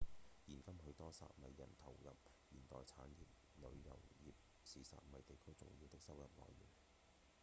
現今許多薩米人投入現代產業旅遊業是薩米地區重要的收入來源